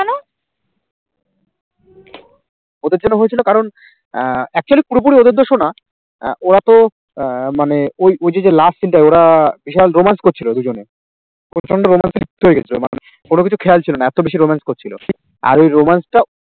ওদের জন্য হয়েছিল কারণ আহ actually পুরোপুরি ওদের দোষও না আহ ওরা তো আহ মানে ওই ওই যে যে last scene টা ওরা বিশাল romance করছিল দুজনে, প্রচন্ড romantic হয়ে গেছিল মানে কোন কিছু খেয়াল ছিল না এত বেশি romance করছিল। আর ওই romance টা